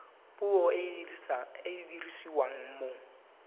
puo e e dirisiwang mo